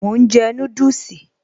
Mò ń jẹ núdùsì